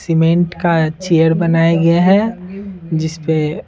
cement का chair बनाया गया है जिस पे --